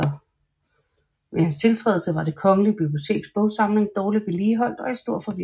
Ved hans tiltrædelse var det Kongelige Biblioteks bogsamling dårlig vedligeholdt og i stor forvirring